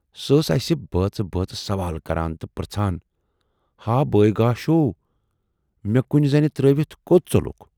سۅ ٲس اَسہِ بٲژِ بٲژِ سوال کَران تہٕ پرژھان"ہا بٲے گاشو، مےٚ کُنۍ زَنہِ ترٲوِتھ کوت ژولُکھ؟